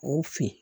O fin